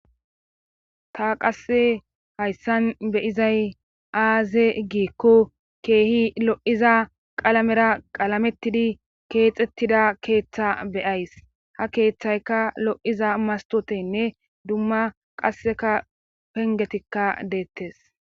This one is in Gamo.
ta qasse hayssan beyizay aaze giikko keehi lo'iza qalamera qalamettidi keexettida keeththa beyays. ha keeththayka lo'iza mastotenne dumma qasseka pengetikka deettes.